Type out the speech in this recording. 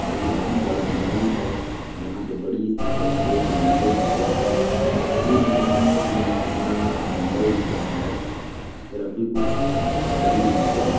और ये बहुत बड़ा ग्राउन्ड है यहाँ पे बड़ी सी बड़ी दो बिल्डिंगे दिख रहा है दूर में काफी घाना जंगल दिख रहा है इस तरफ भी कुछ बड़ी ईमारते दिख--